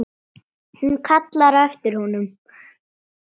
Hún kallar á eftir honum.